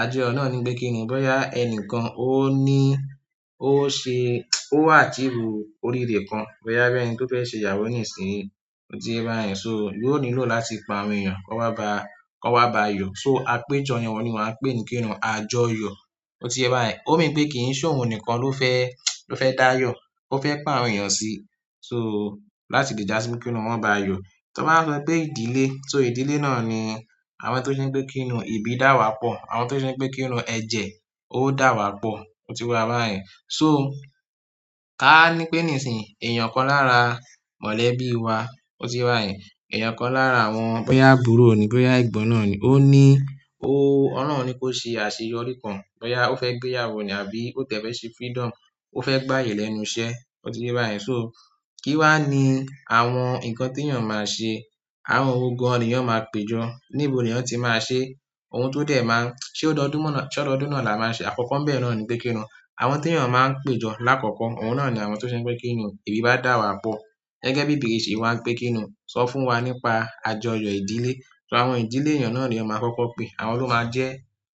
àjọyọ̀ náà ni pé kíni bọ́yá ẹnìkan ó ní, ó ṣe, ó wà tí ìrù òrìre kan. Bọ́yá bẹ́ẹ̀ni tó fẹ́ ṣe ìyàwó nísìnyí. Ó ti bẹ́ rà ẹ́, so yóò nílò láti pe àwọn èèyàn kan wá ba, kan wá ba yọ. So apéjọ yẹn oun ni mo á pè ní kíni àjọyọ̀. Ó ti ye e bayen. Ó mean pé kì í se òun nìkan ló fẹ́, ló fẹ́ dá yọ, ó fẹ́ pe àwọn èèyàn sí. So láti le da si kini won ba yo tí wọ́n bá sọ pé ìdílé, so ìdílé náà ni àwọn tó ṣe wipé kíni ìbí dà wá pọ̀, àwọn tó ṣe wipé kíni ẹjẹ́ ó dà wá pọ̀. Ó ti wà báyen. So ká ní pé nísìnyí èèyàn kan lára mọ̀lẹ́bí wa. Ó ti ye o báyen. Eeyan kan lára boya àbúrò ni, boya egbon naani, o ni, o olohun ni kose àṣeyọrí kan, boya o fe gbeyawo ni or o ti e fe se freedom o fe gbaye lẹ́nu iṣẹ́. Ó ti ye bayen so. So kí wá ni àwọn nǹkan tí èèyàn máa se, àwọn wo gan ni èèyàn máa pejọ. Níbo ni èèyàn tí máa se? Ohun tó dẹ̀ máa, ṣe ó dọdún mọ́, ṣe ọ̀dọ̀dún náà la máa ṣe àkọ́kọ́ ń bẹ̀ rẹ̀ ni pé kíni àwọn tí èèyàn máa ń pejọ lákọ̀ọ̀kọ́, òun náà ni àwọn tó ṣeun pé kíni ìbí bá dà wá pọ̀. Gẹ́gẹ́ bí ìbéèrè yì se wá ń pé kíni sọ fún wa nípa àjọyọ̀ ìdílé. So àwọn ìdílé èèyàn náà ni a máa kọ́kọ́ pé, àwọn ló máa jẹ́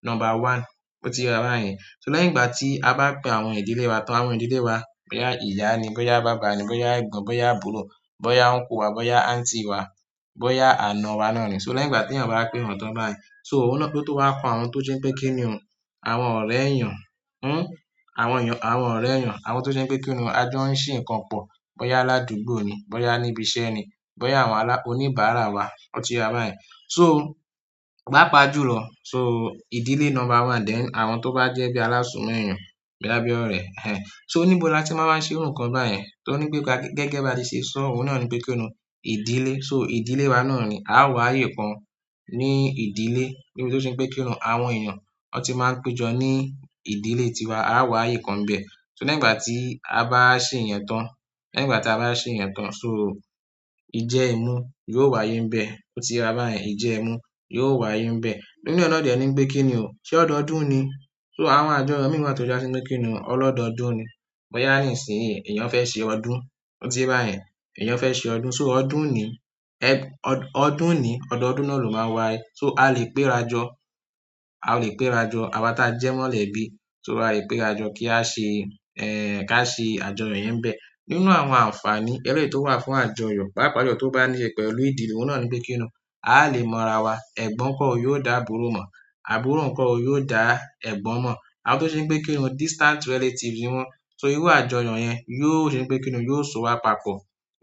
number one. Ó ti ye wa bayen. So lẹ́yìn ìgbà tí a bá pè àwọn ìdílé wa tán, àwọn ìdílé wa, bọ́yá ìyá ni, bọ́yá bàbá ni, bọ́yá ẹ̀gbọ́n, bọ́yá àbúrò, bọ́yá uncle wa, bọ́yá aunty wa, bọ́yá àna wa náà ni. So lẹ́yìn ìgbà tí èèyàn bá pé wọn tán báyen so òun náà ló tó wá kan àwọn tó ṣe pé kíni àwọn ọ̀rẹ́ èèyàn, ún, àwọn èèyàn, àwọn ọ̀rẹ́ èèyàn, àwọn tó ṣe pé kíni àwọn ajo ń ṣe nǹkan pọ̀, bọ́yá ládùúgbò ni, bọ́yá níbi iṣẹ́ ni, bọ́yá àwọn alá, oníbàárà wa. Ó ti ye wa báyen. So bá paàpajùlo, so ìdílé number one then àwọn tó bá jẹ́ bí alásùnmọ̀ èèyàn, boya bi orẹ̀. Ẹn, so níbo ni a ti máa máa ṣe ohun kan báyìí? Tí wọ́n ní pé ká gẹ́gẹ́ bá ti ṣe, so òun náà ni pé kíni ìdílé. So ìdílé wa náà ni a wà ayé kun ní ìdílé. Nibí tó ṣe pé kíni àwọn èèyàn wọ́n ti máa ń péjọ ní ìdílé tiwa, a wà ayé kan bẹ̀. So lẹ́yìn ìgbà tí a bá ṣe ìyẹn tán, lẹ́yìn ìgbà tí a bá ṣe ìyẹn tán, so ìjẹ imú yóò wà ayé ń bẹ̀. Ó ti rọ̀ báyìí. Ìjẹ èémú yóò wà ayé ń bẹ̀. Nínú e nà dẹ̀ ni pé kíni ò, ṣe ọ̀doodún ni. So àwọn àjọyọ̀ mìí wa tó já sí pe kíni ọlọ́dọdún ni. Bọ́yá nísìnyí èèyàn fẹ́ ṣe ọdún. Ó ti báyìí. Ẹ̀yàn fẹ́ ṣe ọdún. So ọdún ni, ẹ̀, ọdún ni, ọ̀dọ̀dún náà ló máa wà ayé. So a lè péra jọ, a lè péra jọ àwa tí a jẹ́ mọ̀lẹ́bí. So a lè péra jọ kí á ṣe, ẹ́, ká ṣe àjọyọ̀ yẹn n bẹ̀. Nínú àwọn àǹfààní ẹlẹ́yií tó wà fún àjọyọ̀, papàjulo tó bá ní ìṣẹ̀ pẹ̀lú ìdílé, òun náà ni pé kíni a lè mọ ara wa. Ẹ̀gbọ́n kan yóò dá àbúrò mọ̀, àbúrò kan yóò dá ẹ̀gbọ́n mọ̀. Àwọn tó ṣeun pé kíni distant relatives niíwọ́n. So irú àjọyọ̀ yẹn yóò ṣe pé kíni yóò so wa papọ̀,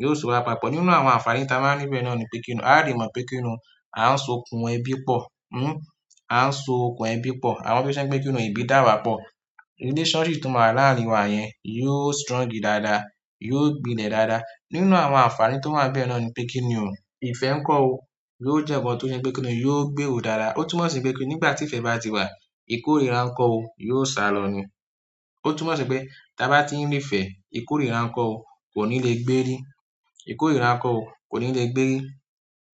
yóò so wa papọ̀. Nínú àwọn àǹfààní tí a máa n ri bẹ́ẹ̀ náà ni pé kíni a lè mọ̀ pé kíni a ń so okùn ẹbí pọ̀. Ún, a ń so okùn ẹbí pọ̀. Àwọn tó ṣe pé kíni ìbí dà wá pọ̀. Relationship tó máa wà láàárín wa yẹn yóò strong dáadáa, yóò gbilẹ̀ dáadáa. Nínú àwọn àǹfààní tó wa ń bẹ́ẹ̀ náà ni pé kíni ò, ìfẹ́ ńkọ́ o, yóò jẹ́ nkan tó ṣe pé kíni yóò gbé rò dáadáa. Ó tún mọ̀ sí pé nígbà tí ìfẹ́ bá ti wà, ìkórìíra ńkọ́ o yóò sá lọ ní. Ó tún mọ̀ sí pé tí a bá tí ń rí ìfẹ́, ìkórìíra ńkọ́ o kò ní le gbé rí. Ìkórìíra ńkọ́ o kò ní le gbé rí.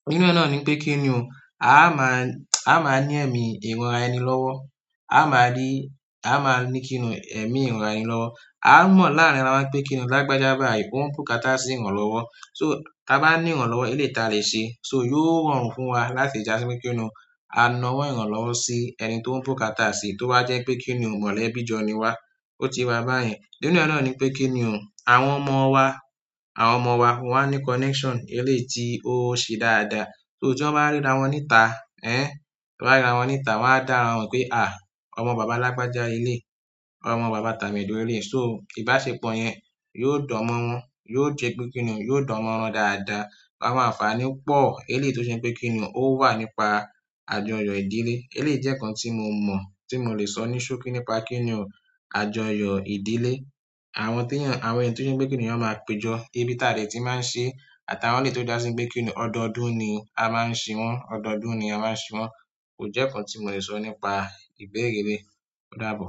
Nínú e náà ni pé kíni ò, a máa, a máa ní ẹ̀mí ìranraẹni lọ́wọ́. A máa rí, a máa ní kíni ẹ̀mí ìranraẹni lọ́wọ́. A mọ̀ láàrin ara wa pé kíni lágbájá báyi o n bukátà sí ìran lọ́wọ́. So tí a bá ní ìran lọ́wọ́, eleyi ta lè ṣe. So yóò rọrùn fún wa láti jà sí pe kíni a náwọ́ ìran lọ́wọ́ sí ẹni tó ń búkátà sí, tó wá jẹ́ pé kíni mọ̀lẹ́bí jọ ní wá. Ó ti ye wa báyìí. Nínú e nàa ni pé kíni ò, àwọn ọmọ wa, àwọn ọmọ wa wọ́n á ní connection eléyìí tí ó ṣe dáadáa. So tí won bá ríra wọ́n níta, ẹ́n, wá ríra wọ́n níta, wọ́n á dàra won mo pé à, ọmọ bàbá lágbájá léleyi, ọmọ bàbá tàmedo leleyi. So ìbáṣepọ̀ yẹn yóò dánmọ́ran, yóò ṣe pé kíni yóò dánmọ́ran dáadáa. Àwọn àǹfààní pọ̀ eléyìí tó ṣe pé kíni ó wà nípa àjọyọ̀ ìdílé. Eléyìí jẹ́ nǹkan tí mo mọ̀, tí mo le sọ ní ṣókí nípa kíni àjọyọ̀ ìdílé. Àwọn tí èèyàn, àwọn èyí tó ṣe pé kíni èèyàn máa pejọ, ìbí ta dè tí máa ń ṣe àtàwọn eléyìí tó já sípẹ̀ kíni ọ̀dọ̀dún ni a máa ń ṣe wọ́n, ọ̀dọ̀dún ni a máa ń ṣe wọ́n. Kò jẹ́ nǹkan tí mo le sọ nípa ìbéèrè eleyi. Ó dàbọ.